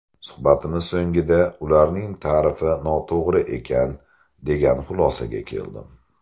Suhbatimiz so‘ngida ularning tarifi noto‘g‘ri ekan, degan xulosaga keldim.